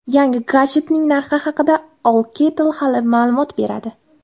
Yangi gadjetning narxi haqida Alcatel hali ma’lumot bermadi.